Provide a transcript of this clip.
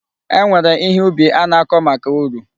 E nwere ihe ubi a na-akọ maka uru.